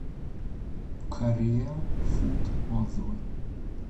корея фуд отзывы